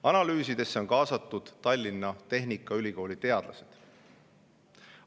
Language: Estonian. Analüüsidesse on kaasatud Tallinna Tehnikaülikooli teadlased.